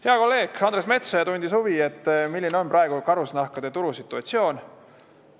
Hea kolleeg Andres Metsoja tundis huvi, milline on praegu karusnahkade turusituatsioon.